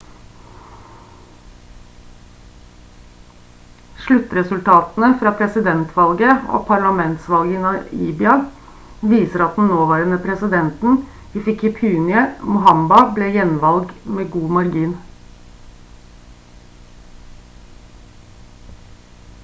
sluttresultatene fra presidentvalget og parlamentsvalget i namibia viser at den nåværende presidenten hifikepunye pohamba ble gjenvalgt med god margin